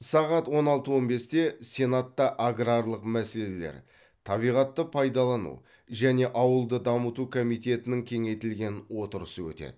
сағат он алты он бесте сенатта аграрлық мәселелер табиғатты пайдалану және ауылды дамыту комитетінің кеңейтілген отырысы өтеді